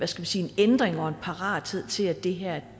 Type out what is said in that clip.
ændring og en parathed til at det her